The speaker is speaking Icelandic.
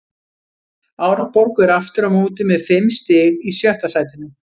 Árborg er aftur á móti með fimm stig í sjötta sætinu.